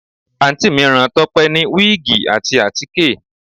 Àǹtí mi rán Tọ́pẹ́ ní wíìgì àti àtíkè